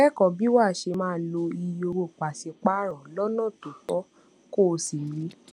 kékòó bí wàá ṣe máa lo iye owó paṣipaarọ lónà tó tó kó o sì rí